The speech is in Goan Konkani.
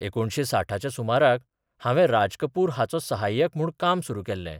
एकुणशे साठाच्या सुमाराक हांवे राज कपुर हाचो साहाय्यक म्हूण काम सुरू केल्ले.